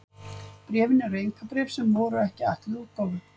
Bréfin eru einkabréf sem voru ekki ætluð útgáfu.